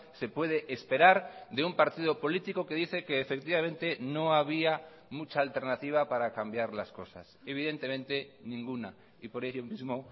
se puede esperar de un partido político que dice que efectivamente no había mucha alternativa para cambiar las cosas evidentemente ninguna y por ello mismo